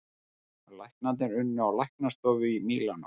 Læknarnir unni á læknastofu í Mílanó